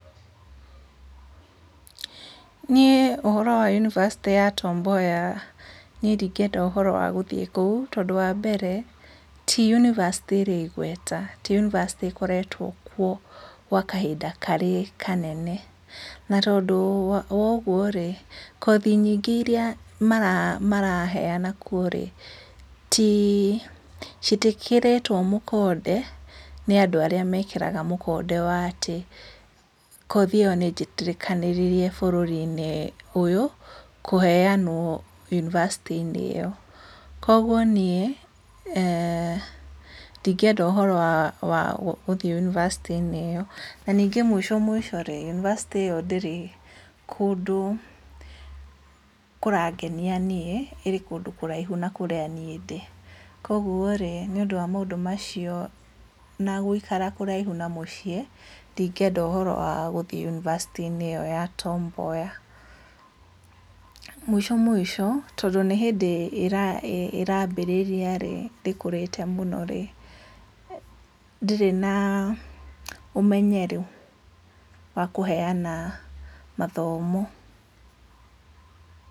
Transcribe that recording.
Niĩ ũhoro wa yunibacĩtĩ ya Tom Mboya, niĩ ndingĩenda ũhoro wagũthiĩ kũu, tondũ wa mbere, ti yunibacĩtĩ ĩrĩ igweta, ti yunibacĩtĩ ĩkoretwo kuo gwa kahinda karĩ kanene, na tondũ woguo rĩ, kothi nyingĩ iria mara maraheana kuo rĩ, ti citiĩkĩrĩtwo mũkonde nĩ andũ arĩa mekĩraga mũkonde wa atĩ, kothi ĩyo nĩ jĩtĩkanĩrĩrie bũrũri-inĩ ũyũ, kũheyanwo yunibacĩtĩ-inĩ ĩyo, koguo niĩ, eeh ndingĩenda ũhoro wa wa gũthiĩ yunibacĩtĩ-inĩ ĩyo, na ningĩ mũico mũico rĩ, yunibacĩtĩ ĩyo ndĩrĩ kũndũ kũrangenia niĩ, ĩrĩ kũndũ kũraihu nakũrĩa niĩ ndĩ, koguo rĩ, nĩ ũndũ wa maũndũ macio na gũikara kũraihu na mũciĩ, ndingĩenda ũhoro wa gũthiĩ yunibacĩtĩ-inĩ ĩyo ya Tom Mboya, mũico mũico, tondũ nĩ hĩndĩ ĩra ĩrabĩrĩria rĩ, ndĩkũrĩte mũno rĩ, ndĩrĩ na, ũmenyeru wa kũheyana mathomo.